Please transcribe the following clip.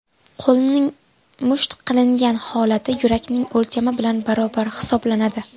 Qo‘lning musht qilingan holati yurakning o‘lchami bilan barobar hisoblanadi.